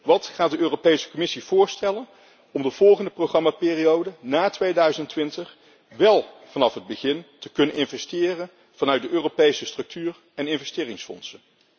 Wat gaat de Europese Commissie voorstellen om in de volgende programmaperiode na 2020 wél vanaf het begin te kunnen investeren met de middelen van de Europese structuur en investeringsfondsen?